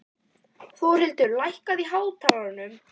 Þórlindur, lækkaðu í hátalaranum.